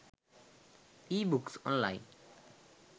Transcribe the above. ebooks online